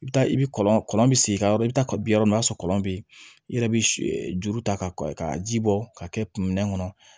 I bɛ taa i bɛ kɔlɔn bi segin ka yɔrɔ i bɛ taa kabi yɔrɔ min na i b'a sɔrɔ kɔlɔn bɛ yen i yɛrɛ bɛ juru ta ka ji bɔ ka kɛ kun minɛn kɔnɔ